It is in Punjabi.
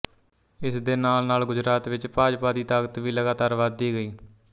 ਇਸ ਦੇ ਨਾਲਨਾਲ ਗੁਜਰਾਤ ਵਿੱਚ ਭਾਜਪਾ ਦੀ ਤਾਕਤ ਵੀ ਲਗਾਤਾਰ ਵਧਦੀ ਗਈ